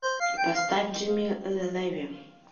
поставь джимми лэви